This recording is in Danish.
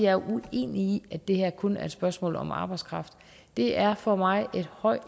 er uenig i at det her kun er et spørgsmål om arbejdskraft det er for mig